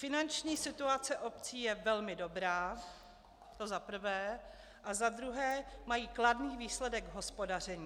Finanční situace obcí je velmi dobrá, to za prvé, a za druhé mají kladný výsledek hospodaření.